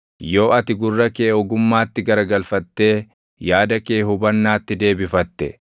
yoo ati gurra kee ogummaatti garagalfattee yaada kee hubannaatti deebifatte,